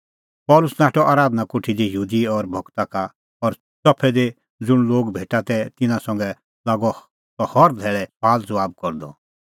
पल़सी नाठअ आराधना कोठी दी यहूदी और भगता का और च़फै दी ज़ुंण लोग भेटा तै तिन्नां संघै लागअ सह हर धैल़ै सुआलज़बाब करदअ